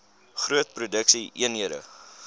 groot produksie eenhede